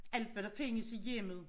Alt hvad der findes i hjemmet